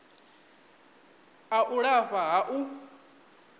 a u lafha ha u